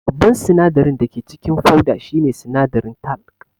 Babban sinadarin dake cikin fauda shine sinadarin talc